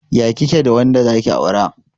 Ya kike da wanda zaki aura?